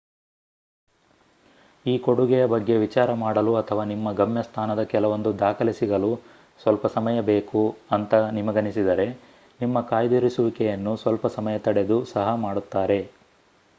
ಈ ಕೊಡುಗೆಯ ಬಗ್ಗೆ ವಿಚಾರ ಮಾಡಲು ಅಥವಾ ನಿಮ್ಮ ಗಮ್ಯಸ್ಥಾನದ ಕೆಲವೊಂದು ದಾಖಲೆ ಸಿಗಲು ಸ್ವಲ್ಪ ಸಮಯ ಬೇಕು ಅಂತ ನಿಮಗನಿಸಿದರೆ ನಿಮ್ಮ ಕಾಯ್ದಿರಿಸುವಿಕೆಯನ್ನು ಸ್ವಲ್ಪ ಸಮಯ ತಡೆದು ಸಹ ಮಾಡುತ್ತಾರೆ